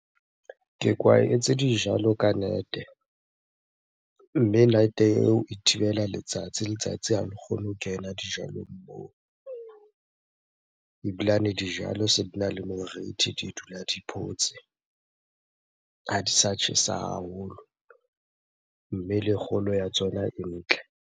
Ke kwaetse dijalo ka net-e mme net-e eo e thibela letsatsi. Letsatsi ha le kgone ho kena dijalong moo. Ebilane dijalo se dina le morithi, di dula di photse, ha di sa tjhesa haholo. Mme le kgolo ya tsona e ntle.